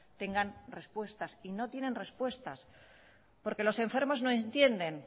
tengan respuestas y no tienen respuestas porque los enfermos no entienden